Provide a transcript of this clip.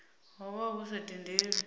ho vha hu sa tendelwi